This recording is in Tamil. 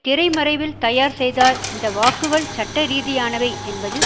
திரைமறைவில் தயார் செய்தார் இந்த வாக்குகள் சட்டரீதியானவை என்பதில்